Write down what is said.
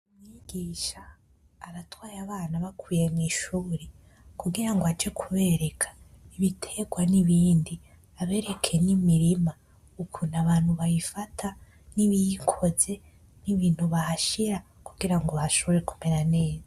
Umwigisha aratwaye abana abakuye mw,ishure kugirango aje kubereka ibiterwa n,ibindi abereke n,imirima ukuntu abantu bayifata nibiyikoze nibintu bahashira kugirango hashobore kumera neza .